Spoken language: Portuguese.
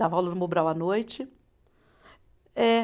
Dava aula no Mobral à noite. É